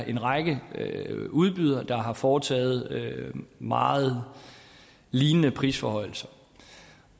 en række udbydere der har foretaget meget lignende prisforhøjelser